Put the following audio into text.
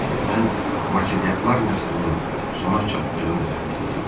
Mən Marselyaklar nəslinin sona çatdığını zənn eləyirdim.